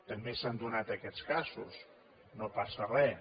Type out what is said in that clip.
també s’han donat aquests casos no passa res